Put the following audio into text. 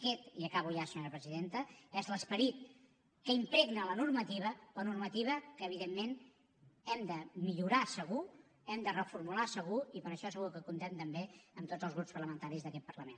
aquest i acabo ja senyora presidenta és l’esperit que impregna la normativa la normativa que evidentment hem de millorar segur hem de reformular segur i per a això segur que comptem també amb tots els grups parlamentaris d’aquest parlament